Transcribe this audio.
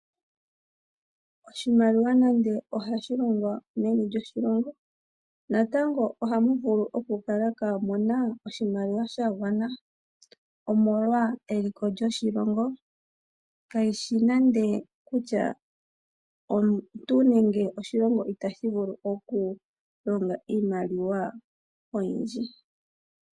Oshimaliwa nande ohashi longo meni lyoshilongo, natango ohamu vulu okukala kaamuna oshimaliwa shagwana , omolwa eliko lyoshilongo kayishi nande kutya omuntu nenge oshilongo itashi vulu okulonga Iimaliwa oyindji.